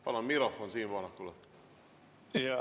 Palun mikrofon Siim Pohlakule!